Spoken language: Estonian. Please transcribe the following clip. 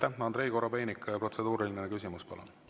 Andrei Korobeinik, protseduuriline küsimus, palun!